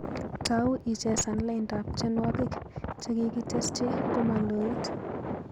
Tau ichesan laindap tyenwogik chegigitesyi komaloit